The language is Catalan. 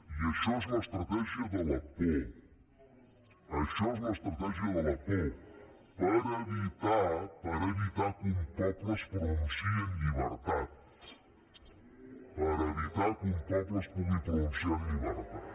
i això és l’estratègia de la por això és l’estratègia de la por per evitar que un poble es pronunciï en llibertat per evitar que un poble es pugui pronunciar en llibertat